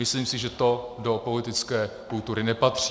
Myslím si, že to do politické kultury nepatří.